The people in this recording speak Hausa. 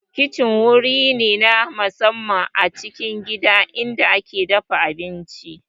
Kicin wuri ne na musamman a cikin gida inda ake dafa abinci